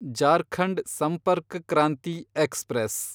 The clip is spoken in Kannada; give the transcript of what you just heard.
ಜಾರ್ಖಂಡ್ ಸಂಪರ್ಕ್ ಕ್ರಾಂತಿ ಎಕ್ಸ್‌ಪ್ರೆಸ್